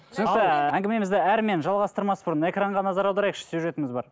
түсінікті әңгімемізді әрмен жалғастырмас бұрын экранға назар аударайықшы сюжетіміз бар